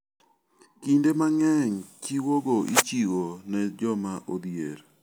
Kinde mang'eny chiwogo ichiwo ne joma odhier.